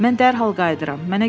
Mən dərhal qayıdıram.